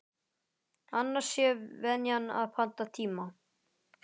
Annars sé venjan að panta tíma.